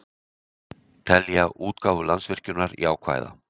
Telja útgáfu Landsvirkjunar jákvæða